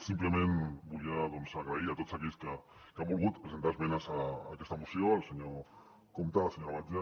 simplement volia doncs donar les gràcies a tots aquells que han volgut presentar esmenes a aquesta moció al senyor compte a la senyora batlle